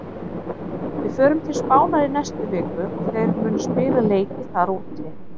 Við förum til Spánar í næstu viku og þeir munu spila leiki þar úti.